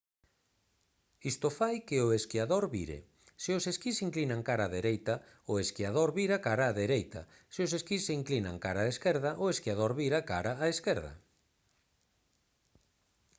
isto fai que o esquiador vire se os esquís se inclinan cara á dereita o esquiador vira cara á dereita se os esquís se inclinan cara á esquerda o esquiador vira cara á esquerda